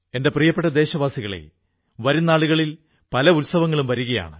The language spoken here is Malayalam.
എന്റെ പ്രിയപ്പെട്ട ദേശവാസികളേ വരും നാളുകളിൽ പല ഉത്സവങ്ങളും വരുകയാണ്